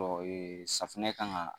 safunɛ kan ka